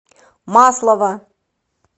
маслова